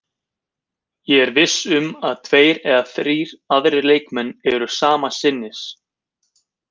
Ég er viss um að tveir eða þrír aðrir leikmenn eru sama sinnis.